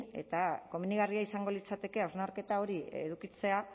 eta komenigarria izango litzateke hausnarketa hori edukitzea